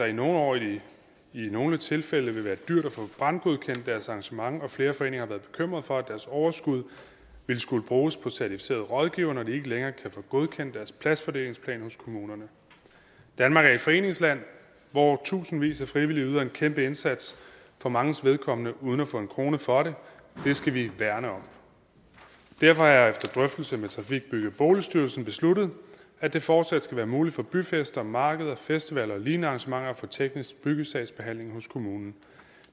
i nogle år i nogle tilfælde vil være dyrt at få brandgodkendt deres arrangement og flere foreninger har været bekymrede for at deres overskud vil skulle bruges på certificerede rådgivere når de ikke længere kan få godkendt deres pladsfordelingsplan hos kommunerne danmark er et foreningsland hvor tusindvis af frivillige yder en kæmpe indsats for manges vedkommende uden at få en krone for det det skal vi værne om derfor har jeg efter drøftelse med trafik bygge og boligstyrelsen besluttet at det fortsat skal være muligt for byfester markeder og festivaler og lignende arrangementer at få teknisk byggesagsbehandling hos kommunen